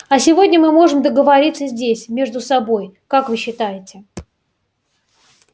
а сегодня мы можем договориться здесь между собой как вы считаете